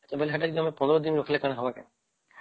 ସେତ ବୋଲେ ୧୫ ଦିନ ରଖିଲେ କଣ ହବ କି ?